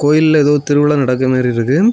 கோயில்ல ஏதோ திருவிழா நடக்கிற மாதிரி இருக்கு.